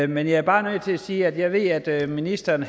men jeg er bare nødt til at sige at jeg ved at ministeren